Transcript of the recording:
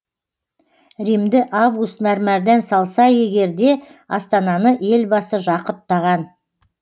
римді август мәрмәрдан салса егер де астананы елбасы жақұттаған